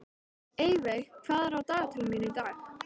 Eyveig, hvað er í dagatalinu mínu í dag?